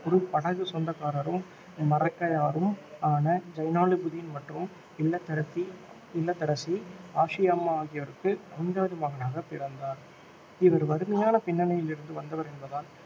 ஒரு படகுச் சொந்தகாரரும் மரைக்காயரும் ஆன ஜைனுலாப்தீன் மற்றும் இல்லத்தரசி இல்லத்தரசி ஆஷியாம்மா ஆகியோருக்கு ஐந்தாவது மகனாக பிறந்தார் இவர் வறுமையான பின்னணியிலிருந்து வந்தவர் என்பதால்